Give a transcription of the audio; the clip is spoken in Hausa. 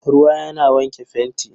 Ruwa yana wanke fenti.